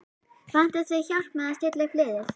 Vantar þig hjálp með að stilla upp liðið?